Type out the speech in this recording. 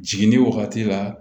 Jiginni wagati la